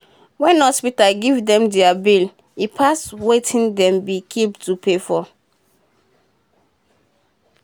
wen hospita give dem deir bill e pass wetin dem be keep to pay for